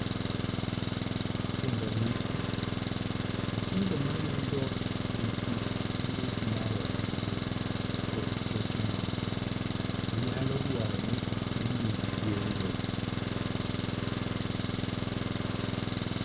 Kuom ranyisi, nyithindo mayudo nikech tuwo mar adundo koda choke moko, nyalo dwaro ni otimnegi yeng'o.